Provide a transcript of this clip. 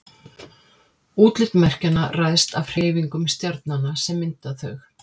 útlit merkjanna ræðst af hreyfingum stjarnanna sem mynda þau